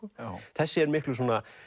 þessi er miklu